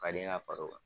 Ka den ka far'o kan